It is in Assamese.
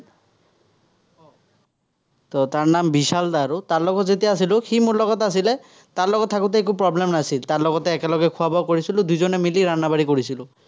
তাৰ নাম বিশাল আৰু, তাৰ লগত যেতিয়া আছিলো, সি মোৰ লগত আছিলে, তাৰ লগত থাকোতে একো problem নাছিল। তাৰ লগতে একেলগে খোৱা-বোৱা কৰিছিলো, দুইজনে মিলি -বাঢ়ি কৰিছিলো।